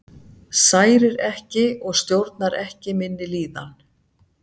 Særir ekki og stjórnar ekki minni líðan.